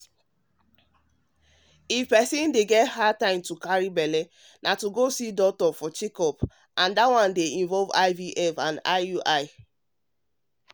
to go see doctor for checkup dey involve ivf and iui if person dey get hard time to carry belle